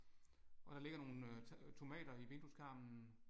Og der ligger nogle tomater i vindueskarmen